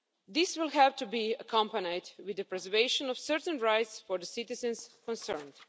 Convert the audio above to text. This will have to be accompanied with the preservation of certain rights for the citizens concerned.